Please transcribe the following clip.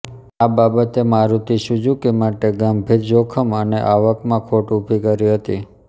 આ બાબતે મારુતિ સુઝુકી માટે ગંભીર જોખમ અને આવકમાં ખોટ ઊભી કરી હતી